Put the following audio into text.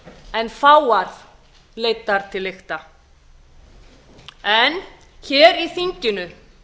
en fáar leiddar til lykta en hér í þinginu